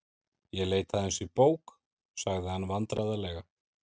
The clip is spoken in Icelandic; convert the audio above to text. Ég leit aðeins í bók.- sagði hann vandræðalega.